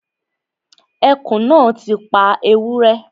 Ẹkùn náà ti pa ewúrẹ́